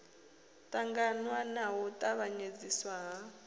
ṱangaṋwa na u tavhanyedziswa ha